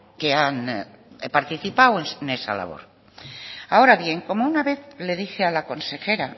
que han participado en esa labor ahora bien como una vez que le dije a la consejera